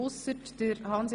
Ausser Grossrat